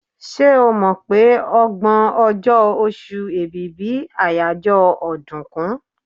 Ṣé o mọ̀ pé ọgbọ̀n ọjọ́, oṣù Èbìbí àyájọ́ ọ̀dùnkún?